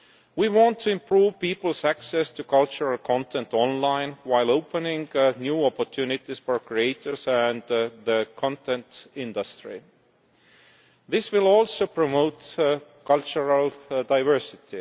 We want to improve people's access to cultural content online while opening new opportunities for creators and the content industry. This will also promote cultural diversity.